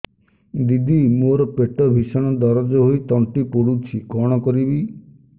ଦିଦି ମୋର ପେଟ ଭୀଷଣ ଦରଜ ହୋଇ ତଣ୍ଟି ପୋଡୁଛି କଣ କରିବି